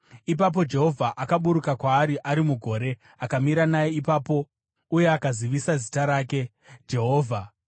Ipapo Jehovha akaburuka kwaari ari mugore akamira naye ipapo uye akazivisa zita rake, Jehovha.